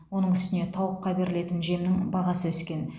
оның үстіне тауыққа берілетін жемнің бағасы өскен